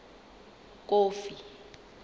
kofi